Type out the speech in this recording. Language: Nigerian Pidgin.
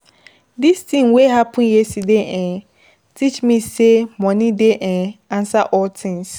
This tin wey happen yesterday um teach me sey moni um dey answer all tins.